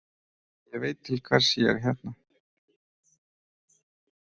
Ég veit til hvers ég er hérna.